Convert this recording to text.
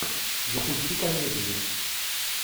запусти комедию